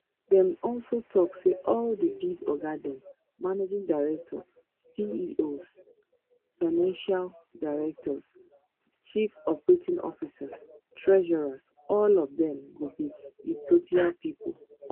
dem also tok say all di big oga dem managing director ceo financial director chief operating officer treasurer all of dem go be ethiopia pipo